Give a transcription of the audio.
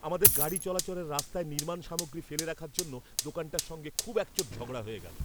আমাদের গাড়ি চলাচলের রাস্তায় নির্মাণ সামগ্রী ফেলে রাখার জন্য দোকানটার সঙ্গে খুব একচোট ঝগড়া হয়ে গেল।